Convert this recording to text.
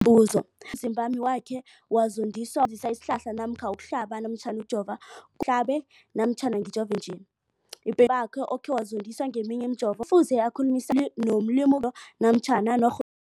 Umbuzo, umzimbami wakhe wazondiswa kusebenzisa isihlahla namkha ukuhlaba, ukujova, ngihlabe namkha ngijove nje? Ipe bakhe okhe wazondiswa ngeminye imijovo kufuze akhulumisane nomlimu wezepilo namkha